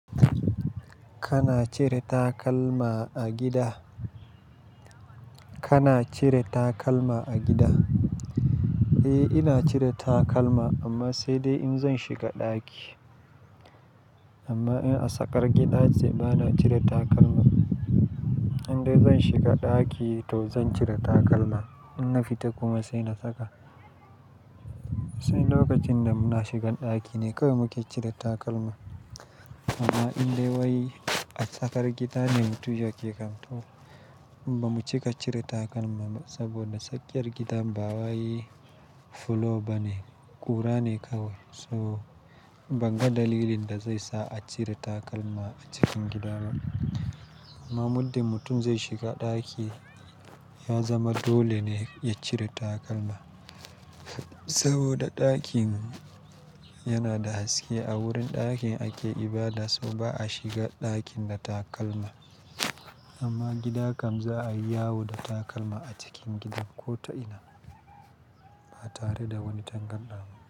Kana cire takalma a gida? Kana cire takalma a gida? Eh, ina cire takalma amma sai dai in zan shiga ɗaki. Amma in a tsakar gida ce, ba na cire takalma. Indai zan shiga ɗaki to zan cire takalma, in na fita kuma sai na saka. Sai lokacin da muna shigan ɗaki ne kawai muke cire takalma. Amma indai wai a tsakar gida ne mu tuji ake kamto, bamuce ka cire takalma ba saboda tsakiyar gidan ba wa yayi fulowa bane, ƙura ne kawai. So, banga dalilin da zai sa a cire takalma a cikin gida ba. Amma muddi mutum zai shiga ɗaki, ya zama dole ne ya cire takalma saboda ɗakin yana da haske. A wurin ɗakin ake ibada so ba a shiga ɗakin da takalma. Amma gida kam za a yi yawo da takalma a cikin gidan ko ta'ina, ba tare da wani tangarɗawa ba.